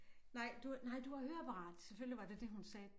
Nej du nej du har høreapparat selvfølgelig var det det hun sagde